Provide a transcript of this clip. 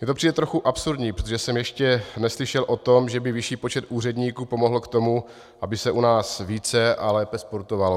Mně to přijde trochu absurdní, protože jsem ještě neslyšel o tom, že by vyšší počet úředníků pomohl k tomu, aby se u nás více a lépe sportovalo.